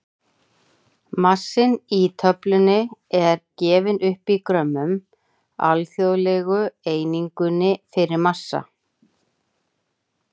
Massinn í töflunni er gefinn upp í grömmum, alþjóðlegu einingunni fyrir massa.